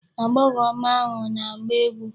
Agbọghọ ọma ahụ na-agba egwu.